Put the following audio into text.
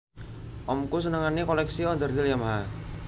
Omku senengane koleksi onderdil Yamaha